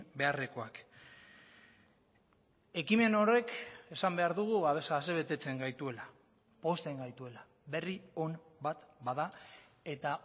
beharrekoak ekimen horrek esan behar dugu asebetetzen gaituela pozten gaituela berri on bat bada eta